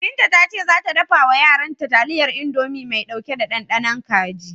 Binta ta ce za ta dafa wa yaranta taliyar Indomi mai ɗauke da ɗanɗanon kaji.